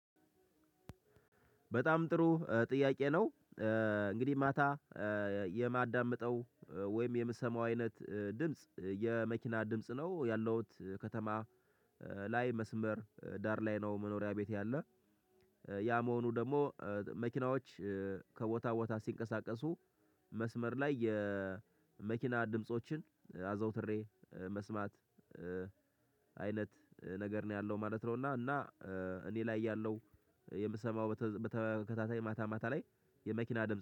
በጣም ጥሩ ጥያቄ ነው። እንግዲህ ማታ የማዳምጠው ወይም የምሰማው አይነት ድምጽ የመኪና ድምጽ ነው። ያለውት ከተማ ላይ መስመር ዳር ላይ ነው መኖሪያ ቤቴ ያለ። ያ መሆኑ ደግሞ መኪናዎች ከቦታ ቦታ ሲንቀሳቀሱ መስመር ላይ የመኪና ድምፆችን አዘውትሬ መስማት አይነት ነገር ነው ያለው ማለት ነው። እና እኔ ላይ ያለው የምሰማው በተከታታይ ማታ ማታ ላይ የመኪና ድምጽ